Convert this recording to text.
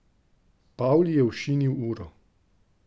Pavli je ošinil uro.